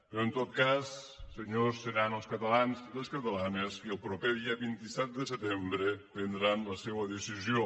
però en tot cas senyors seran els catalans i les catalanes qui el proper dia vint set de setembre prendran la seua decisió